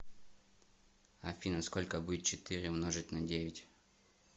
афина сколько будет четыре умножить на девять